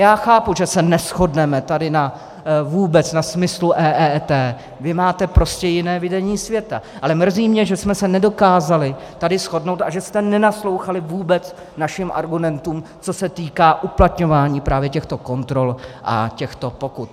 Já chápu, že se neshodneme tady vůbec na smyslu EET, vy máte prostě jiné vidění světa, ale mrzí mě, že jsme se nedokázali tady shodnout a že jste nenaslouchali vůbec našim argumentům, co se týká uplatňování právě těchto kontrol a těchto pokut.